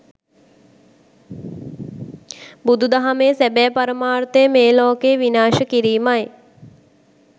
බුදු දහමේ සැබෑ පරමර්ථය මේ ලෝකය විනාශ කිරීමයි.